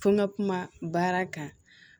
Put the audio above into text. Ko n ka kuma baara kan